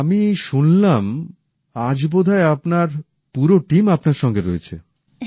আর আমি শুনলাম আজ বোধহয় আপনার পুরো টিম আপনার সঙ্গে রয়েছে